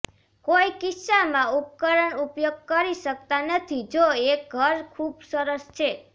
કોઈ કિસ્સામાં ઉપકરણ ઉપયોગ કરી શકતા નથી જો એક ઘર ખૂબ સરસ છે